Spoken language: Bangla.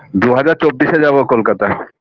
দুই হাজার চব্বিশে যাবো কলকাতায়